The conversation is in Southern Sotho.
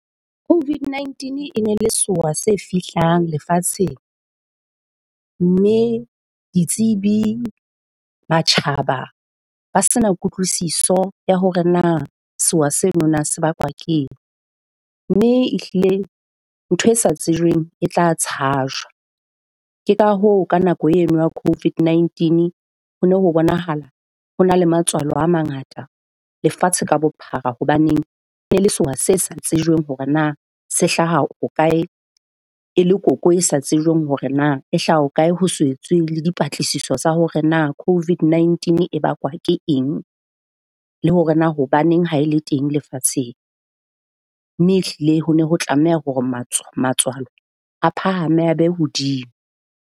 COVID-19 e ne le sewa se fihlang lefatsheng. Mme ditsebi, matjhaba ba se na kutlwisiso ya hore na sewa seno na se bakwa keng. Mme ehlile ntho e sa tsejweng e tla tshajwa. Ke ka hoo ka nako eno ya COVID-19 ho no ho bonahala ho na la matswalo a mangata lefatshe ka bophara hobaneng e ne le sewa se sa tsejweng hore na se hlaha ho kae, e le koko e sa tsejweng hore na e hlaha ho kae. Ho se etswe le dipatlisiso tsa hore na COVID-19 e bakwa ke eng le hore na hobaneng ha e le teng lefatsheng. Mme ehlile ho ne ho tlameha hore matswalo a phahame, a be hodimo.